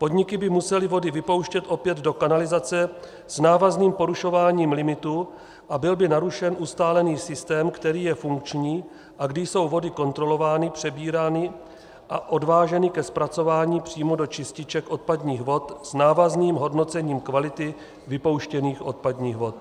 Podniky by musely vody vypouštět opět do kanalizace s návazným porušováním limitu a byl by narušen ustálený systém, který je funkční a kdy jsou vody kontrolovány, přebírány a odváženy ke zpracování přímo do čističek odpadních vod s návazným hodnocením kvality vypouštěných odpadních vod.